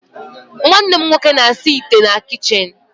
Nwannem nwoke na-asa ite na kichin